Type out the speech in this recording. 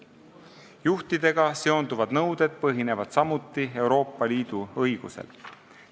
Juhtidega seonduvad nõuded põhinevad samuti Euroopa Liidu õigusel.